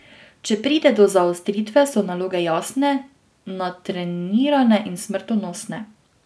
Če pride do zaostritve so naloge jasne, natrenirane in smrtonosne.